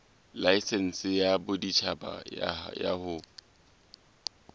laesense ya boditjhaba ya ho